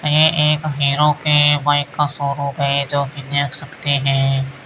ये एक हीरो के बाइक का शोरूम है जो की देख सकते है।